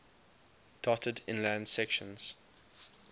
dotted inland sections